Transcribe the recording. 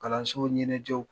Kalanso ɲɛnajɛw